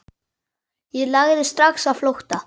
Ég lagði strax á flótta.